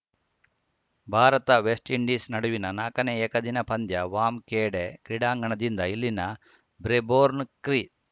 ಭಾರತವೆಸ್ಟ್‌ಇಂಡೀಸ್‌ ನಡುವಿನ ನಾಲ್ಕನೇ ಏಕದಿನ ಪಂದ್ಯ ವಾಂಖೇಡೆ ಕ್ರೀಡಾಂಗಣದಿಂದ ಇಲ್ಲಿನ ಬ್ರೇಬೊರ್ನ್‌ ಕ್ರೀ